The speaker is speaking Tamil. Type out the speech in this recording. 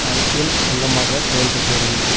அரசியல் அங்கமாக செயல்பட்டு வருகிறது